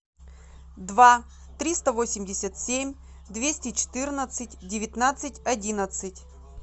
два триста восемьдесят семь двести четырнадцать девятнадцать одиннадцать